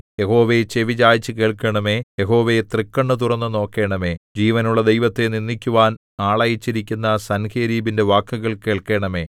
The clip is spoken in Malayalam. യഹോവേ ചെവിചായിച്ചു കേൾക്കണമേ യഹോവേ തൃക്കണ്ണു തുറന്നു നോക്കണമേ ജീവനുള്ള ദൈവത്തെ നിന്ദിക്കുവാൻ ആളയച്ചിരിക്കുന്ന സൻഹേരീബിന്റെ വാക്കുകൾ കേൾക്കണമേ